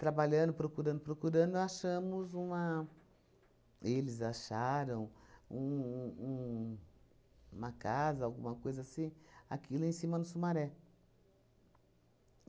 Trabalhando, procurando, procurando, achamos uma... Eles acharam um um uma casa, alguma coisa assim, aqui lá em cima, no Sumaré.